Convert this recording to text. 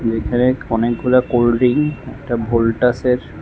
এইখানে অনেকগুলা cold drink একটা ভোল্টাসের --